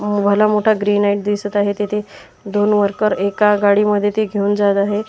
अह भला मोठा ग्रीनाईट दिसत आहे तेथे दोन वर्कर एका गाडीमध्ये ते घेऊन जात आहेत.